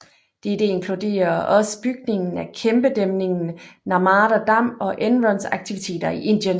Dette inkluderer også bygningen af kæmpedæmningen Narmada Dam og Enrons aktiviteter i Indien